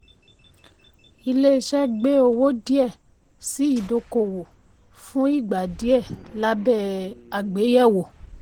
ilé iṣẹ́ gbé owó díẹ̀ sí ìdókòwò fún ìgbà díẹ̀ labẹ́ àgbéyẹ̀wò.